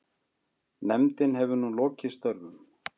Nefndin hefur nú lokið störfum.